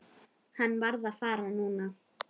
Hann varð að fara núna.